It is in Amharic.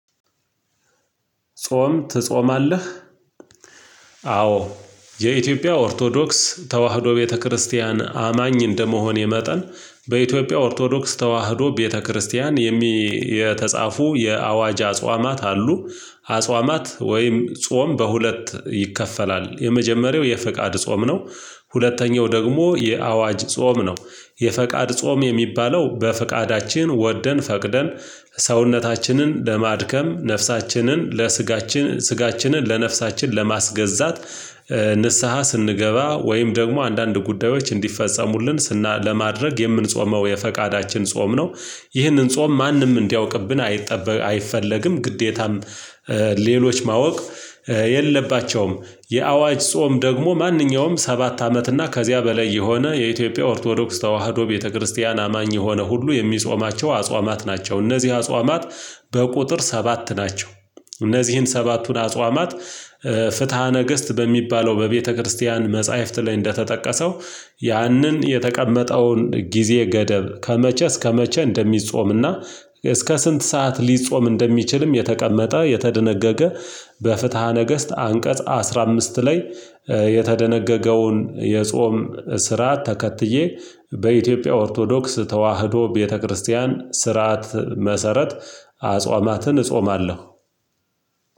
ጾም ትጾማለህ? አዎ የኢትዮጵያ ኦርቶዶክስ ተዋህዶ ቤተክርስቲያን አማኝ እንደመሆኔ መጠን በኢትዮጵያ ኦርቶዶክስ ተዋህዶ ቤተክርስቲያን የተጻፉ የአዋጅ አጽዋማት አሉ። አጿማት ወይም ጾም በሁለት ይከፈላል የመጀመሪያው የፈቃድ ጾም ነው። ሁለተኛው ደግሞ የአዋጅ ጾም ነው። የፈቃድ ጾም የሚባለው በፈቃዳችን ወደን ፈቅደን ሰውነታችንን ለማድከም ነፍሳችንን ለስጋችን ስጋችንን ለነፍሳችን ለማስገዛት። ንስሃ ስንገባ ወይም ደግሞ አንዳንድ ጉዳዮች እንዲፈጸሙልን ስና ለማድረግ የምንጾመው የፈቃዳችን ጾም ነው። ይህንን ጾም ማንም እንዲያውቅብን አይጠበቅ አይፈለግም ግዴታም ሌሎች ማወቅ የለባቸውም። የአዋጅ ጾም ደግሞ ማንኛውም ሰባት አመት እና ከዚያ በላይ የሆነ የኢትዮጵያ ኦርቶዶክስ ተዋህዶ ቤተክርስቲያን አማኝ የሆነ ሁሉ የሚጾማቸው አጽዋማት ናቸው። እነዚህ አጽዋማት በቁጥር ሰባት ናቸው። እነዚህን ሰባቱን አጽዋማት ፍትሃ ነገስት በሚባለው በቤተክርስቲያን መጽሐፍት ላይ ያንን የተቀመጠውን ጊዜ ገደብ ከመቼ እስከመቼ እንደሚጾምና እስከ ስንት ሰዓት ሊጾም እንደሚችልም የተቀመጠ የተደነገገ። በፍትሃ ነገስት አንቀጽ አስራ ላይ። የተደነገገውን የጾም ስርዓት ተከትዬ በኢትዮጵያ ኦርቶዶክስ ተዋህዶ ቤተክርስቲያን ስርዓት መሰረት አጽዋማትን እጾማለሁ።